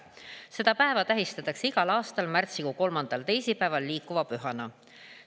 Seda tähistatakse igal aastal märtsikuu kolmandal teisipäeval liikuva pühana.